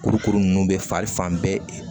Kurukuru ninnu bɛ fari fan bɛɛ